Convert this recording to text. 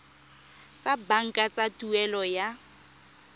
tsa banka tsa tuelo ya